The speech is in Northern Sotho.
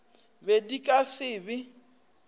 be di ka se be